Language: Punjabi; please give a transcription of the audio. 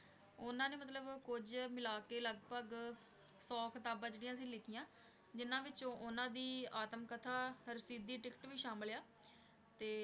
ਉਹਨਾਂ ਨੇ ਮਤਲਬ ਕੁੱਝ ਮਿਲਾ ਕੇ ਲਗਪਗ ਸੌ ਕਿਤਾਬਾਂ ਜਿਹੜੀਆਂ ਸੀ ਲਿਖੀਆਂ ਜਿਹਨਾਂ ਵਿੱਚੋਂ ਉਹਨਾਂ ਦੀ ਆਤਮ-ਕਥਾ ਰਸੀਦੀ ਟਿੱਕਟ ਵੀ ਸ਼ਾਮਿਲ ਆ, ਤੇ